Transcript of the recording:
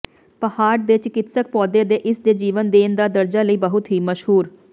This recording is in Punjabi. ਪਹਾੜ ਦੇ ਚਿਕਿਤਸਕ ਪੌਦੇ ਦੇ ਇਸ ਦੇ ਜੀਵਨ ਦੇਣ ਦਾ ਦਰਜਾ ਲਈ ਬਹੁਤ ਹੀ ਮਸ਼ਹੂਰ